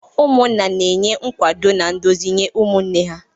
Ụmụnna na-enye nkwado, na nduzi nye ụmụnne ha..